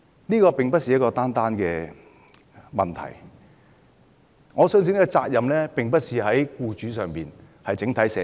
這並非單一的問題。我相信責任並不在僱主身上，而在整體社會。